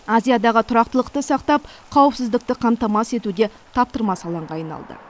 азиядағы тұрақтылықты сақтап қауіпсіздікті қамтамасыз етуде таптырмас алаңға айналды